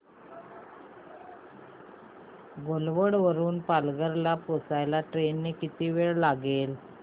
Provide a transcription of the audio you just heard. घोलवड वरून पालघर ला पोहचायला ट्रेन ने किती वेळ लागेल